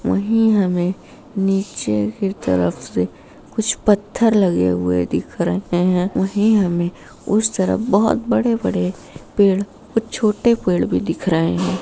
वही हमें नीचे की तरफ से कुछ पत्थर लगे हुए दिख रहे हैं वही हमें उस तरफ बड़े-बड़े पेड़ छोटे पेड़ दिख रहे हैं।